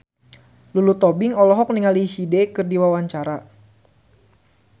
Lulu Tobing olohok ningali Hyde keur diwawancara